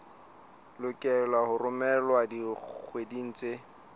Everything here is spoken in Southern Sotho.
lokelwa ho romelwa dikgweding tse